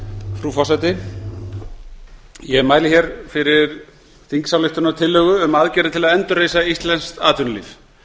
frú forseti ég mæli fyrir þingsályktunartillögu um aðgerðir til að endurreisa íslenskt atvinnulíf